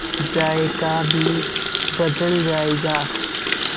जायका भी बदल जाएगा